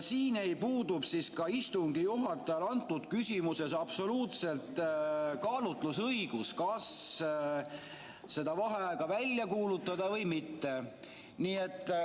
Siin puudub ka istungi juhatajal absoluutselt kaalutlusõigus, kas vaheaega välja kuulutada või mitte.